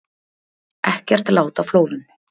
Ekkert lát á flóðum